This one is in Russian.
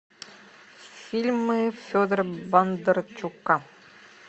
фильмы федора бондарчука